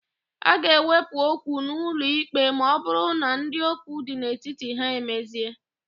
A ga-ewepụ okwu n'ụlọikpe ma ọbụrụ na ndị okwu dị n'etiti ha emezie.